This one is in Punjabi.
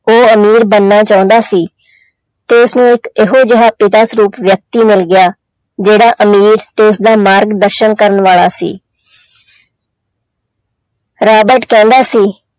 ਉਹ ਅਮੀਰ ਬਣਨਾ ਚਾਹੁੰਦਾ ਸੀ ਤੇ ਉਸਨੂੰ ਇੱਕ ਇਹੋ ਜਿਹਾ ਪਿਤਾ ਸਰੂਪ ਵਿਅਕਤੀ ਮਿਲ ਗਿਆ ਜਿਹੜਾ ਅਮੀਰ ਤੇ ਉਸਦਾ ਮਾਰਗ ਦਰਸ਼ਨ ਕਰ ਵਾਲਾ ਸੀ ਰਾਬਟ ਕਹਿੰਦਾ ਸੀ